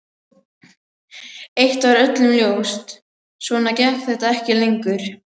Eitt var öllum ljóst: Svona gekk þetta ekki lengur.